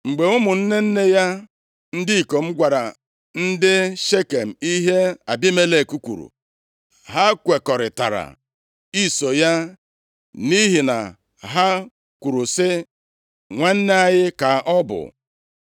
Mgbe ụmụnne nne ya ndị ikom gwara ndị Shekem ihe Abimelek kwuru, ha kwekọrịtara iso ya nʼihi na ha kwuru sị, “Nwanne anyị ka ọ bụ.”